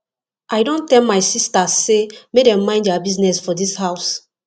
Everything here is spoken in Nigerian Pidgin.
i don tell my sistas sey make dem mind their business for dis house